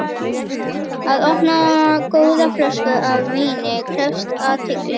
Að opna góða flösku af víni krefst athygli.